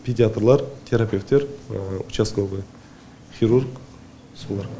педиатрлар терапевтер участковый хирург солар